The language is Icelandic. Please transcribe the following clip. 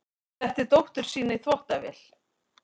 Setti dóttur sína í þvottavél